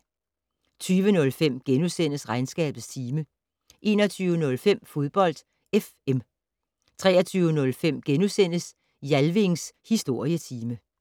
20:05: Regnskabets time * 21:05: Fodbold FM 23:05: Jalvings Historietime *